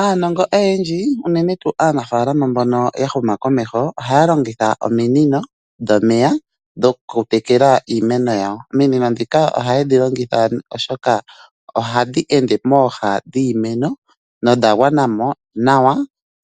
Aanongo oyendji uunene tuu aanafaalama mbono yahuma komeho ohaya longitha ominino dhomeya dhokutekela iimeno yawo. Ominino ndhika ohaye dhi longitha oshoka ohadhi ende mooha dhiimeno nodha gwana mo nawa .